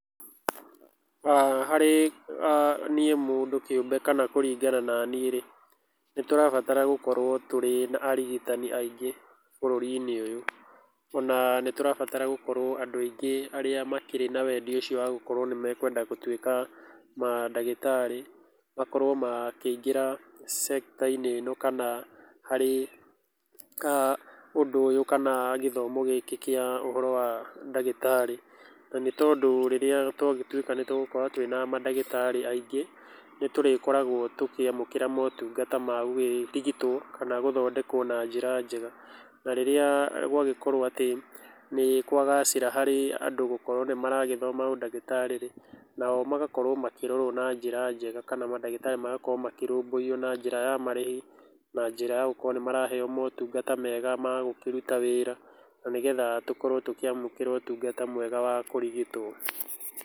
Harĩ aah niĩ mũndũ kĩũmbe kana kũringana na niĩ rĩ, nĩ tũrabatara gũkorwo tũrĩ na arigitani aingĩ bũrũri-inĩ ũyũ, ona nĩ tũrabatara gũkorwo andũ aingĩ arĩa makĩrĩ na wendi ũcio wa gũkorwo nĩmekwenda gũtuĩka mandagĩtarĩ, makorwo makĩingĩra sekita-inĩ ĩno kana harĩ aah ũndũ ũyũ kana gĩthomo gĩkĩ kĩa ũhoro wa ndagĩtarĩ, na nĩ tondũ rĩrĩa twagĩtuĩka nĩ tũgũkorwo twĩ na mandagĩtarĩ aingĩ, nĩ tũrĩkoragwo tũkĩamũkĩra motungata ma gũkĩrigitwo kana gũthondekwo na njĩra njega, na rĩrĩa gwagĩkorwo atĩ nĩ kwagacĩra harĩ andũ gũkorwo nĩ maragĩthoma ũndagĩtarĩ rĩ, nao magakorwo makĩrorwo na njĩra njega, kana mandagĩtarĩ magakorwo makĩrũmbũiyo na njĩra ya marĩhi na njĩra ya gũkorwo nĩ maraheo motungata mega magũkĩruta wĩra, na nĩgetha tũkorwo tũkĩamũkĩra ũtungata mwega wa kũrigitwo.